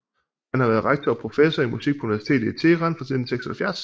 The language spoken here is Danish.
Han har været rektor og professor i musik på Universitetet i Teheran fra 1976